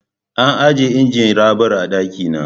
An ajiye injin raɓar a ɗaki na.